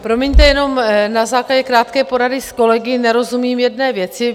Promiňte, jenom na základě krátké porady s kolegy nerozumím jedné věci.